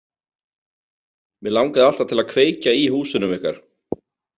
Mig langaði alltaf til að kveikja í húsunum ykkar.